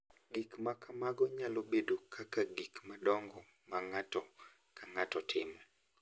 Gik ma kamago nyalo bedo kaka gik madongo ma ng’ato ka ng’ato timo,